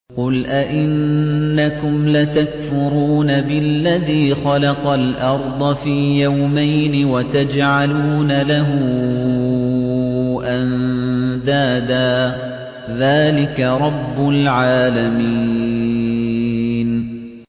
۞ قُلْ أَئِنَّكُمْ لَتَكْفُرُونَ بِالَّذِي خَلَقَ الْأَرْضَ فِي يَوْمَيْنِ وَتَجْعَلُونَ لَهُ أَندَادًا ۚ ذَٰلِكَ رَبُّ الْعَالَمِينَ